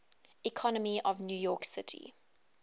economy of new york city